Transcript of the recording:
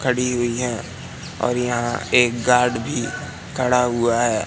खड़ी हुई हैं और यहां एक गार्ड भी खड़ा हुआ है।